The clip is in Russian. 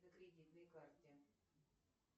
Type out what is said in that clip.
на кредитной карте